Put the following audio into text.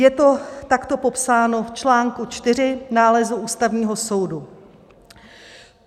Je to takto popsáno v článku IV nálezu Ústavního soudu: